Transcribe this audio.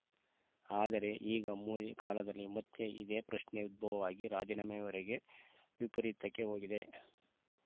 ಆದರೆ ಈಗ ಮೋದಿ ಕಾಲದಲ್ಲಿ ಮತ್ತೆ ಇದೇ ಪ್ರಶ್ನೆ ಉದ್ಭವವಾಗಿ ರಾಜೀನಾಮೆವರೆಗೆ ವಿಪರೀತಕ್ಕೆ ಹೋಗಿದೆ